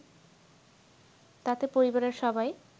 তাতে পরিবারের সবাই